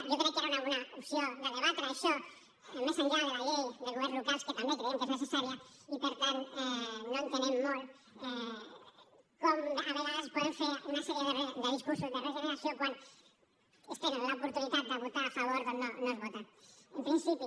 jo crec que era una bona opció de debatre això més enllà de la llei de governs locals que també creiem que és necessària i per tant no entenem molt com a vegades es poden fer una sèrie de discursos de regeneració quan quan ells tenen l’oportunitat de votar a favor doncs no es vota en principi